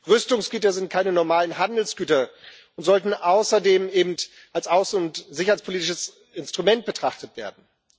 Rüstungsgüter sind keine normalen Handelsgüter und sollten außerdem als außen und sicherheitspolitisches Instrument betrachtet werden.